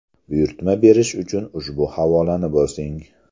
Buyurtma berish uchun ushbu havolani bosing.